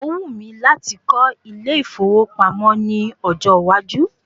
Ó wù mí láti kọ́ ilé ìfowópamọ́ ní ọjọ́ iwájú.